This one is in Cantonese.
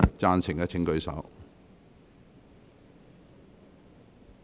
贊成的請舉手。